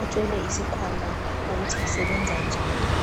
othwele isikhwama ukuthi isebenza njani.